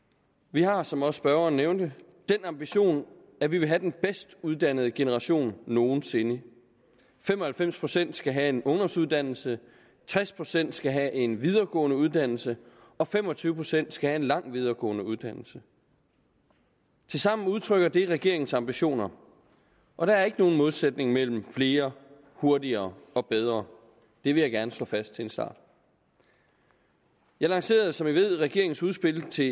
vi har som også spørgeren nævnte den ambition at vi vil have den bedst uddannede generation nogen sinde fem og halvfems procent skal have en ungdomsuddannelse tres procent skal have en videregående uddannelse og fem og tyve procent skal have en lang videregående uddannelse tilsammen udtrykker det regeringens ambitioner og der er ikke nogen modsætning mellem flere hurtigere og bedre det vil jeg gerne slå fast til en start jeg lancerede som man ved regeringens udspil til